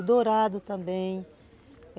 O dourado também.